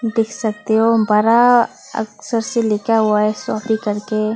देख सकते हो बड़ा अक्षर से लिखा हुआ है शॉपी कर के--